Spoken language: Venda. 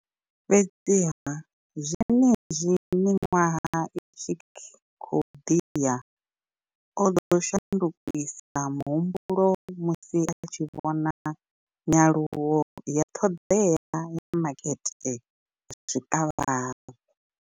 Fhedziha, zwenezwi miṅwaha i tshi khou ḓi ya, o ḓo shandukisa muhumbulo musi a tshi vhona nyaluwo ya ṱhoḓea ya makete wa zwikavhavhe.